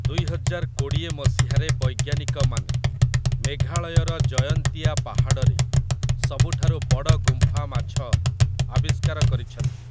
ଦୁଇହଜାର କୋଡ଼ିଏ ମସିହାରେ ବୈଜ୍ଞାନିକମାନେ ମେଘାଳୟର ଜୟନ୍ତିଆ ପାହାଡ଼ରେ ସବୁଠାରୁ ବଡ଼ ଗୁମ୍ଫା ମାଛ ଆବିଷ୍କାର କରିଛନ୍ତି ।